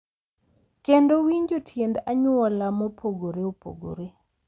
Kendo winjo tiend anyuola mopogore opogore,